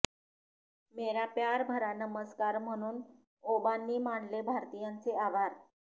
मेरा प्यार भरा नमस्कार म्हणून ओबांनी मानले भारतीयांचे आभार